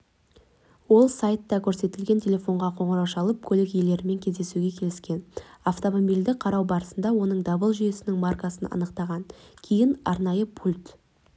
ол сайтта көрсетілген телефонға қоңырау шалып көлік иелерімен кездесуге келіскен автомобильді қарау барысында оның дабыл жүйесінің маркасын анықтаған кейін арнайы пульт